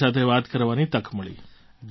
તમારી સાથે વાત કરવાની તક મળી